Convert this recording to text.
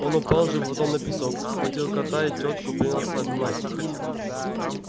он упал животом на песок схватил кота и тётку принялся обнимать их